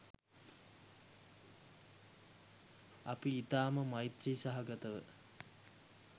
අපි ඉතාම මෛත්‍රී සහගතව